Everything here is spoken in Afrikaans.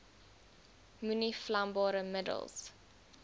moenie vlambare middels